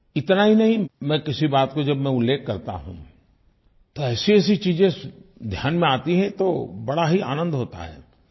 इतना ही नहीं मैं किसी बात को जब मैं उल्लेख करता हूँ तो ऐसीऐसी चीजें ध्यान में आती हैं तो बड़ा ही आनंद होता है